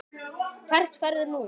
Hvert ferðu nú?